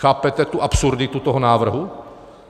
Chápete tu absurditu toho návrhu?